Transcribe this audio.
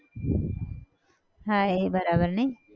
હા એ બરાબર નઈ?